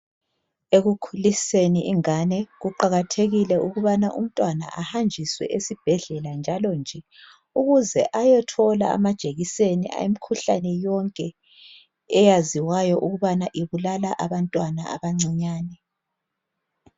Ekukhuliseni ingane kuqakathekile ukubana umntwana ahanjiswe esibhedlela njalonje ukuze ayethola amajekiseni emikhuhlanene yonke eyaziwa ukubana ibulala abantwana abancinyani.